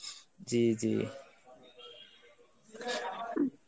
জি জি.